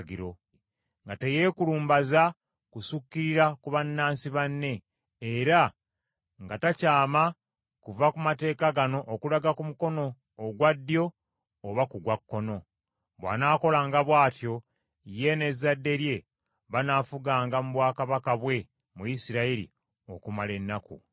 nga teyeekulumbaza kusukkirira ku bannansi banne, era nga takyama kuva ku mateeka gano okulaga ku mukono ogwa ddyo oba ku gwa kkono. Bw’anaakolanga bw’atyo, ye, n’ezzadde lye banaafuganga mu bwakabaka bwe, mu Isirayiri, okumala ennaku nnyingi.